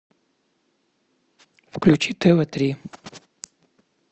включи тв три